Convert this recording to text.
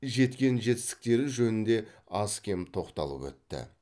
жеткен жетістіктері жөнінде аз кем тоқталып өтті